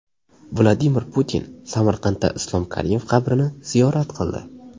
Vladimir Putin Samarqandda Islom Karimov qabrini ziyorat qildi.